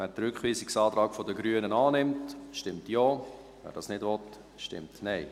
Wer den Rückweisungsantrag der Grünen annimmt, stimmt Ja, wer dies nicht will, stimmt Nein.